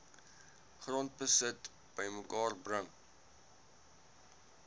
grondbesit bymekaar bring